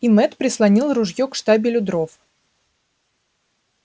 и мэтт прислонил ружье к штабелю дров